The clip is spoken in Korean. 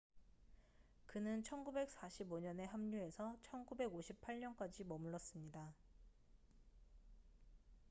그는 1945년에 합류해서 1958년까지 머물렀습니다